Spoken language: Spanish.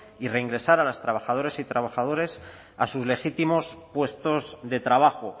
y reingresar a las trabajadoras y trabajadores a sus legítimos puestos de trabajo